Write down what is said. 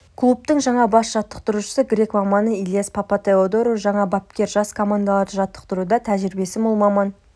клубтың жаңа бас жаттықтырушысы грек маманы илиас папатеодору жаңа бапкер жас командаларды жаттықтыруда тәжірибесі мол маман